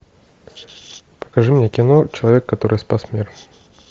покажи мне кино человек который спас мир